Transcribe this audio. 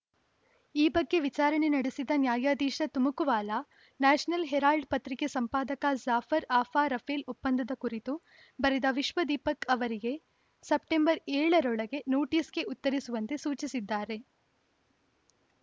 ಈ ಬಗ್ಗೆ ವಿಚಾರಣೆ ನಡೆಸಿದ ನ್ಯಾಯಾಧೀಶ ತಮಕುವಾಲಾ ನ್ಯಾಷನಲ್‌ ಹೆರಾಲ್ಡ್‌ ಪತ್ರಿಕೆ ಸಂಪಾದಕ ಜಾಫರ್‌ ಆಫ್ರಾ ರಫೇಲ್‌ ಒಪ್ಪಂದದ ಕುರಿತು ಬರೆದ ವಿಶ್ವದೀಪಕ್‌ ಅವರಿಗೆ ಸೆಪ್ಟೆಂಬರ್ ಏಳರೊಳಗೆ ನೋಟಿಸ್‌ಗೆ ಉತ್ತರಿಸುವಂತೆ ಸೂಚಿಸಿದ್ದಾರೆ